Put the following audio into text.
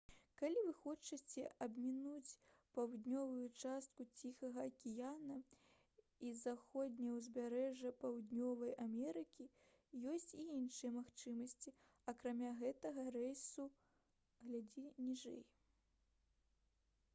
калі вы хочаце абмінуць паўднёвую частку ціхага акіяна і заходняе ўзбярэжжа паўднёвай амерыкі ёсць і іншыя магчымасці акрамя гэтага рэйса гл. ніжэй